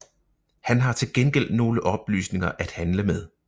Han har til gengæld nogle oplysninger at handle med